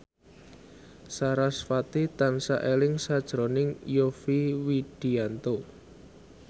sarasvati tansah eling sakjroning Yovie Widianto